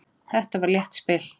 Það var létt spil.